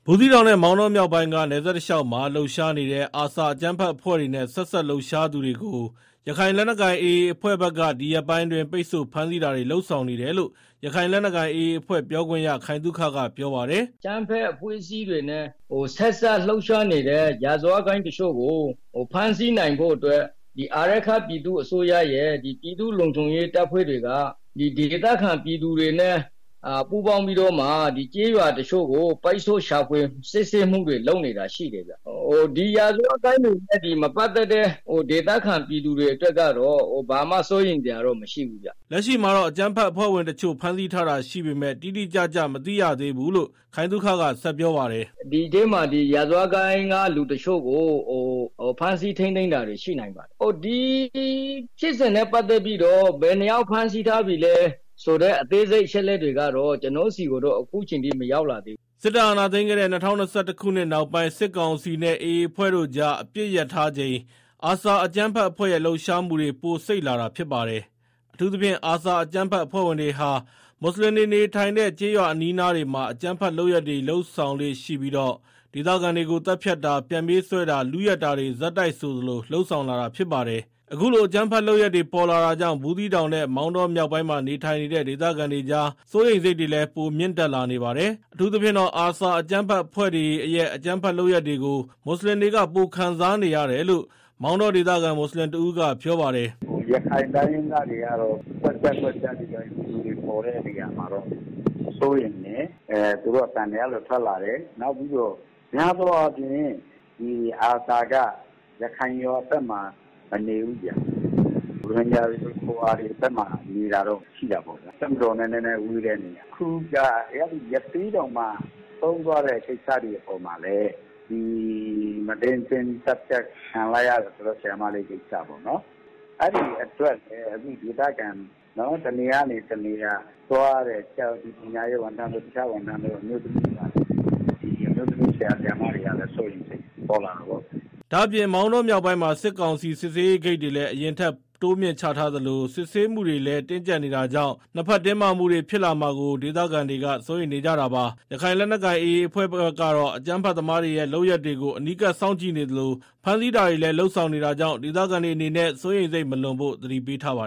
ဘူးသီးတောင်နဲ့ မောင်တောမြောက်ပိုင်းက နယ်စပ်တလျောက်မှာ လှုပ်ရှားနေတဲ့ ARSA အကြမ်းဖက်အဖွဲ့တွေနဲ့ ဆက်စပ်လှုပ်ရှားသူတွေကို ရခိုင်လက်နက်ကိုင် AA အဖွဲ့ဖက်က ဒီရက်ပိုင်းအတွင်း ပိတ်ဆို့ဖမ်းဆီးတာတွေ လုပ်ဆောင်နေတယ်လို့ ရခိုင်လက်နက်ကိုင် AA အဖွဲ့ ပြောခွင့်ရ ခိုင်သုခက ပြောပါတယ်။ “ အကြမ်းဖက်အဖွဲ့အစည်းတွေနဲ့ ဆက်စပ်လှုပ်ရှားနေတဲ့ ရာဇဝတ်ဂိုင်းတချို့ကို ဖမ်းဆီးနိုင်ဖို့ အတွက်အာရက္ခပြည်သူ့အစိုးရရဲ့ ပြည်သူ့ လုံခြုံရေး တပ်ဖွဲ့တွေက၊ ဒေသခံပြည်သူတွေနဲ့ ပူးပေါင်းပြီးတော့ ကျေးရွာတချို့ကို ပိတ်ဆို့ရှာဖွယ် စစ်ဆေးမှုတွေ လုပ်နေတာရှိတယ်ဗျာ၊ ဒီရာဇဝတ်ဂိုဏ်းတွေနဲ့ မပတ်သတ်တဲ့ ဒေသခံပြည်သူတွေအနေနဲ့ကတော့ ဘာမှ စိုးရိမ်စရာ မရှိဘူးဗျာ။” လက်ရှိမှာတော့ အကြမ်းဖက်ဝင်တချို့ ဖမ်းဆီးထားတာရှိပေမယ့် တိတိကျကျမသိရသေးဘူးလို့ ခိုင်သုခက ဆက်ပြောပါတယ်။ “ ဒီထဲမှာ ရာဇဝတ်ဂိုဏ်းက လူတချို့ကို ဖမ်းဆီးထိန်းသိမ်းတာတွေ ရှိနိုင်ပါတယ်၊ ဒီဖြစ်စဉ်နဲ့ ပတ်သက်ပြီးတော့ ဘယ်နှစ်ယောက် ဖမ်းဆီးထားပြီလဲဆိုတဲ့ အသေးစိတ်အချက်အလက်တွေကတော့ ကျနော့်ဆီကိုတော့ အခုအချိန်ထိ မရောက်လာသေးဘူးဗျာ။” စစ်တပ်အာဏာသိမ်းခဲ့တဲ့ ၂၀၂၁ ခုနှစ်နောက်ပိုင်း စစ်ကောင်စီနဲ့ AA အဖွဲ့တို့ကြား အပစ်ရပ်ထားချိန် ARSAအကြမ်းဖက်အဖွဲ့ရဲ့ လှုပ်ရှားမှုတွေ ပိုစိပ်လာတာဖြစ်ပါတယ်။ အထူးသဖြင့် ARSA အကြမ်းဖက် အဖွဲ့တွေဟာ မွတ်ဆလင်တွေနေထိုင်တဲ့ ကျေးရွာအနီးအနားတွေမှာ အကြမ်းဖက်လုပ်ရပ်တွေ လုပ်ဆောင်လေ့ရှိပြီး ဒေသခံတွေကို သတ်ဖြတ်တာ ပြန်ပေးဆွဲတာ လုယက်တာတွေဆက်တိုက်ဆိုသလို လုပ်ဆောင်လာတာဖြစ်ပါတယ်။ အခုလို အကြမ်းဖက်လုပ်ရပ်တွေ ပေါ်လာတာကြောင့် ဘူးသီးတောင်နဲ့ မောင်တောမြောက် ပိုင်းမှာ နေထိုင်တဲ့ ဒေသခံတွေကြား စိုးရိမ်စိတ်တွေ ပိုမြင့်တက်လာပါတယ်။ အထူးသဖြင့်တော့ ARSA အကြမ်းဖက်အဖွဲ့တွေအကြမ်းဖက်လုပ်ရပ်တွေကို မွတ်ဆလင်တွေက ပိုခံစားနေရတယ်လို့ မောင်တောဒေသခံ မွတ်ဆလင်တဦးကပြောပါတယ်။ “ရခိုင်တိုင်းရင်းသားတွေကတော့ ကွက်ကျား ကွက်ကျား ဒီလူတွေ ပေါ်တဲ့နေရာကတော့ စိုးရိမ်ကြတယ် သူတို့အသံတွေ အဲလို ထွက်လာတယ်၊ နောက်ပြီးတော့ များသောအားဖြင့် အာဆာက ရခိုင်ရွာဖက်မှာ မနေဘူးဗျာ၊ ရိုဟင်ဂျာတွေ ရွာဖက်မှာနေတာတော့ ရှိတာပေါ့ဗျာ၊ တပ်မတော်နဲ့လည်းဝေးတဲ့နေရာ၊ နောက်တခုက ရသေ့တောင်မှာ ဆရာမတဦး သတ်ဖြတ် ခံရတဲ့အပေါ်မှာလည်း ဒေသခံတွေက တနေရာကနေ တနေရာ သွားရတဲ့ ပညာရေးဝန် ထမ်းတွေ တခြားဝန်ထမ်းတွေ အမျိုးသမီးဆရာ ဆရာမတွေကလည်း စိတ်ရိမ်စိတ်တွေ ပေါ်လာတာပေါ့ဗျာ။” ဒါ့အပြင် မောင်တောမြောက်ပိုင်းမှာ စစ်ကောင်စီစစ်ဆေးဂိတ်တွေလည်း အရင်ထက်တိုးမြင့် ချထားသလို စစ်ဆေးမှုတွေ တင်းကြပ်နေတာကြောင့် နှစ်ဖက်တင်း မာတွေဖြစ်လာမှာကို ဒေသခံတွေကစိုးရိမ်နေကြတာပါ။ ရခိုင်လက်နက်ကိုင် AA အဖွဲ့ဖက်ကတော့ အကြမ်းဖက်သမား တွေရဲ့ လုပ်ရပ်တွေကို အနီးကပ် စောင့်ကြည့်နေသလို ဖမ်းဆီးတာတွေလည်း လုပ်ဆောင် နေတာကြောင့် ဒေသခံတွေ အနေနဲ့ စိုးရိမ်စိတ်မလွန်ဖို့ သတိပေးထားပါ